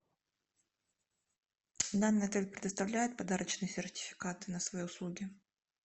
данный отель предоставляет подарочные сертификаты на свои услуги